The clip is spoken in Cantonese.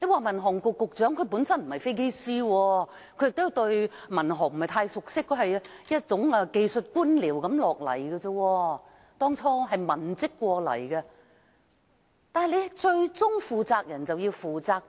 民航局局長本身不是飛機師，他對民航事務不是太熟悉，他是技術官僚，當初是文職調過來，但最高負責人便要負責。